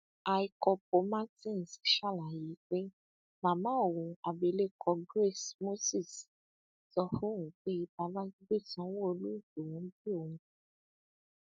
àìkópó martins ṣàlàyé pé màmá òun abilékọ grace moses sọ fóun pé babájídé sanwóolú lòún bí òun fún